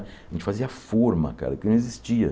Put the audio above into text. A gente fazia forma, cara, aqui não existia.